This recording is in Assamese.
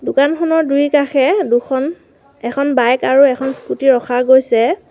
দোকানখনৰ দুইকাষে দুখন এখন বাইক আৰু এখন স্কুটি ৰখা গৈছে।